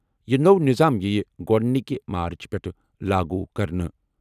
یہِ نوٚو نظام یِیہِ گۄڈٕنِکہِ مارٕچ پٮ۪ٹھٕ لاگو کرنہٕ۔